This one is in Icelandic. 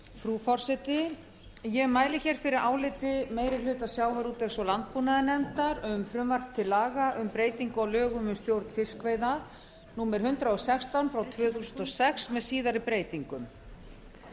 frú forseti ég mæli fyrir áliti meiri hluta sjávarútvegs og landbúnaðarnefndar um frumvarp til laga um breytingu á lögum um stjórn fiskveiða númer hundrað og sextán tvö þúsund og sex með síðari breytingum